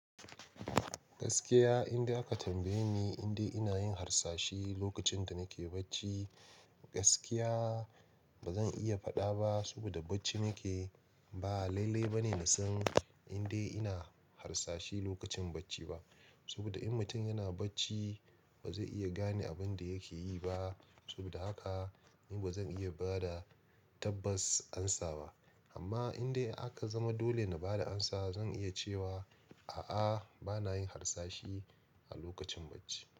Gaskiya inda aka tambaye ni indai ina yin harsashi lokacin da nake bacci, gaskiya ba zan iya faɗa ba saboda bacci nakeyi. Ba, lalle ba ne na san indai ina harsashi lokacin bacci ba. Saboda in mutum yana bacci ba zai iya gane abin da yake yi ba. Saboda haka ni ba zan iya ba da tabbas amsa ba. Amma inda aka zama dole na ba da amsa, zan iya cewa a'a, ba na yin harsashi a lokacin bacci.